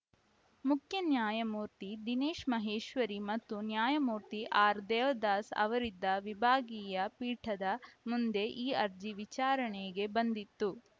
ಮುಖ್ಯ ನ್ಯಾಯಮೂರ್ತಿ ದಿನೇಶ್‌ ಮಹೇಶ್ವರಿ ಮತ್ತು ನ್ಯಾಯಮೂರ್ತಿ ಆರ್‌ದೇವದಾಸ್‌ ಅವರಿದ್ದ ವಿಭಾಗೀಯ ಪೀಠದ ಮುಂದೆ ಈ ಅರ್ಜಿ ವಿಚಾರಣೆಗೆ ಬಂದಿತ್ತು